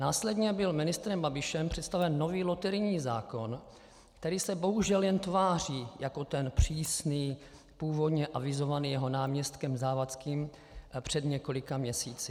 Následně byl ministrem Babišem představen nový loterijní zákon, který se bohužel jen tváří jako ten přísný, původně avizovaný jeho náměstkem Závodským před několika měsíci.